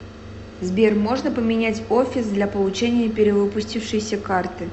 сбер можно поменять офис для получения перевыпустившейся карты